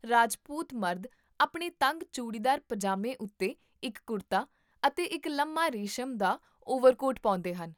ਰਾਜਪੂਤ ਮਰਦ ਆਪਣੇ ਤੰਗ ਚੂੜੀਦਾਰ ਪਜਾਮੇ ਉੱਤੇ ਇੱਕ ਕੁਰਤਾ ਅਤੇ ਇੱਕ ਲੰਮਾ ਰੇਸ਼ਮ ਦਾ ਓਵਰਕੋਟ ਪਾਉਂਦੇ ਹਨ